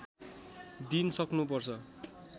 दिन सक्नुपर्छ